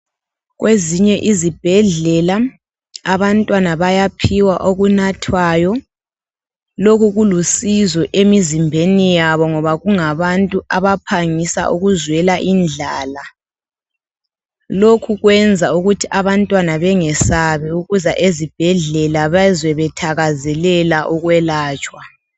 Kwezinye izibhedlela abantwana bayaphiwa okunathwayo. Loku kulusizo emizimbeni yabo ngoba kungabantu abaphangisa ukuzwela indlala. Lokhu kwenza ukuthi abantwana bengesabi ukuza ezibhedlela bazwe bethakazelela ukwelatshwa.